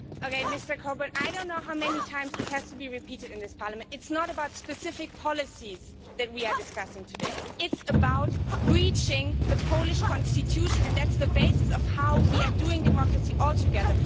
Mr Coburn, I do not know how many times this has to be repeated in this Parliament. It is not specific policies that we are discussing today, it is the breaching of the Polish Constitution, and that is the basis for how we are doing democracy all together.